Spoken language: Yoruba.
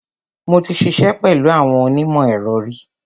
Mo ti ṣiṣẹ́ pẹ̀lú àwọn onímọ̀-ẹ̀rọ ri.